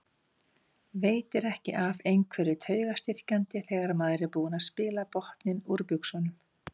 Veitir ekki af einhverju taugastyrkjandi þegar maður er búinn að spila botninn úr buxunum.